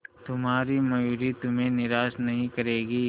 तुम्हारी मयूरी तुम्हें निराश नहीं करेगी